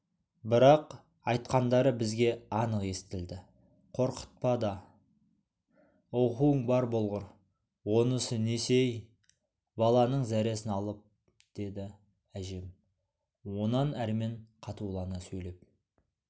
бірақ айтқандары бізге анық естілді қорқытпа да оқуың бар болғыр онысы несі-ей баланың зәресін алып деді әжем онан әрмен қатулана сөйлеп